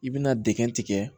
I bɛna dɛgɛ tigɛ